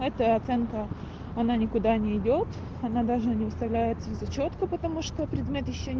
эта оценка она никуда не идёт она даже не выставляется в зачётку потому что предмет ещё